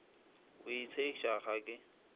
o a itshegiša ga ke